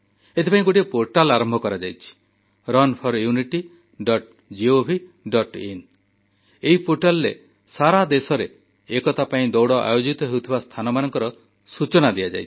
ଏଥିପାଇଁ ଗୋଟିଏ ପୋର୍ଟାଲ ଆରମ୍ଭ କରାଯାଇଛି runforunitygovin ଏଇ ପୋର୍ଟାଲରେ ସାରା ଦେଶରେ ଏକତା ପାଇଁ ଦୌଡ଼ ଆୟୋଜିତ ହେଉଥିବା ସ୍ଥାନର ସୂଚନା ଦିଆଯାଇଛି